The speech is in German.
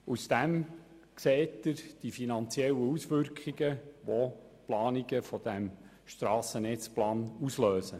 Daraus ersehen Sie die finanziellen Auswirkungen, welche durch die Planungen aufgrund des Strassennetzplans ausgelöst werden.